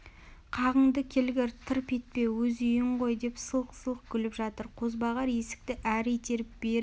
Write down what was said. қағынды келгір тырп етпе өз үйің ғой деп сылқ-сылқ күліп жатыр қозбағар есікті әрі итеріп бері